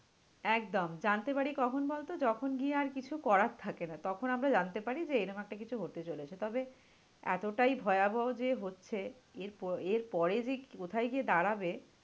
একদম। জানতে পারি কখন বল তো? যখন গিয়ে আর কিছু করার থাকে না। তখন আমরা জানতে পারি যে, এরম একটা কিছু হতে চলেছে। তবে এতটাই ভয়াবহ যে হচ্ছে এরপর, এর পরে যে কোথায় গিয়ে দাঁড়াবে।